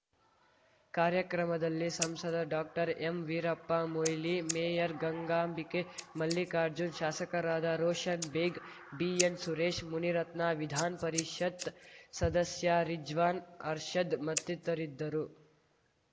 ಕಾರ್ಯಕ್ರಮದಲ್ಲಿ ಸಂಸದ ಡಾಕ್ಟರ್ಎಂವೀರಪ್ಪ ಮೊಯ್ಲಿ ಮೇಯರ್‌ ಗಂಗಾಂಬಿಕೆ ಮಲ್ಲಿಕಾರ್ಜುನ್‌ ಶಾಸಕರಾದ ರೋಷನ್‌ ಬೇಗ್‌ ಬಿಎನ್‌ಸುರೇಶ್‌ ಮುನಿರತ್ನ ವಿಧಾನ್ ಪರಿಷತ್‌ ಸದಸ್ಯ ರಿಜ್ವಾನ್‌ ಅರ್ಷದ್‌ ಮತ್ತಿತರಿದ್ದರು